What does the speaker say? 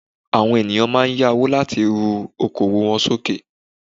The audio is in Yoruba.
Àwọn ènìyàn máa n yá owó láti ru okoòwò won sókè